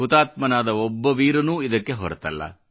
ಹುತಾತ್ಮನಾದ ಒಬ್ಬ ವೀರನೂ ಇದಕ್ಕೆ ಹೊರತಲ್ಲ